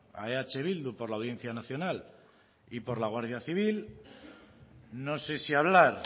a eh bildu por la audiencia nacional y por la guardia civil no sé si hablar